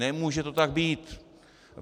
Nemůže to tak být.